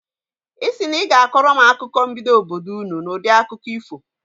Ị sị na ị ga-akọrọ m akụkọ mbido obodo ụnụ n'udi akụkọ ifo.